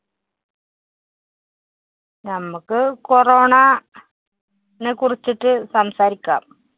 നമ്മക്ക് corona നെ കുറിച്ചിട്ട് സംസാരിക്കാം.